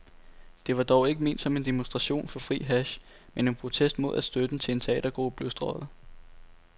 Det var dog ikke ment som en demonstration for fri hash, men en protest mod at støtten til en teatergruppe blev strøget.